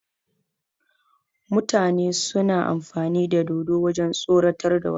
Mutane suna amfani da dodo wajen tsoratar da wasu